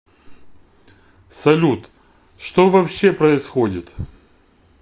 салют что вообще происходит